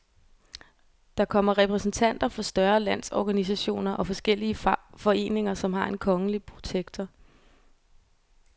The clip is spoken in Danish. Der kommer repræsentanter for større landsorganisationer og forskellige foreninger, som har en kongelige protektor.